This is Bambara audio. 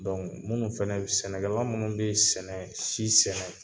minnu fɛnɛ sɛnɛgɛlan minnu bi sɛnɛ si sɛnɛ